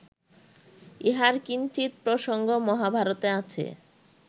ইহার কিঞ্চিৎ প্রসঙ্গ মহাভারতে আছে